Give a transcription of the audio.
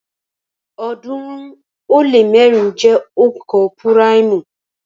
ọ̀ọ́dúnrún ó lé mẹ́rin jẹ́ onka púráìmù